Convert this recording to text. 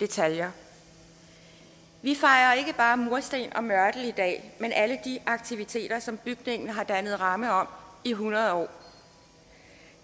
detaljer vi fejrer ikke bare mursten og mørtel i dag men alle de aktiviteter som bygningen har dannet ramme om i hundrede år